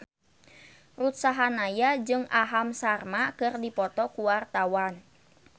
Ruth Sahanaya jeung Aham Sharma keur dipoto ku wartawan